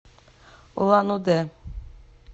улан удэ